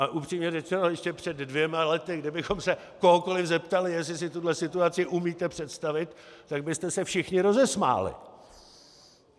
A upřímně řečeno, ještě před dvěma lety, kdybychom se kohokoli zeptali, jestli si tuhle situaci umíte představit, tak byste se všichni rozesmáli.